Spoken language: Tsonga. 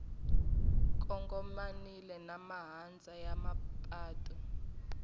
kongomanile na mahandza ya mapatu